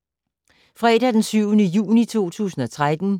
Fredag d. 7. juni 2013